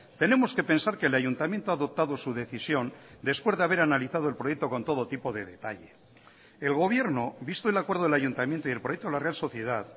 tenemos que pensar que el ayuntamiento ha adoptado su decisión después de haber analizado el proyecto con todo tipo de detalle el gobierno visto el acuerdo del ayuntamiento y el proyecto de la real sociedad